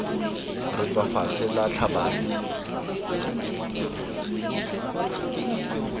re tswa fatshe la tlhabane